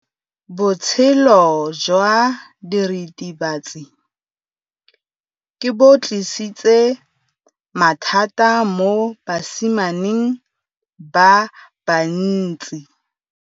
Botshelo jwa diritibatsi ke bo tlisitse mathata mo basimaneng ba bantsi.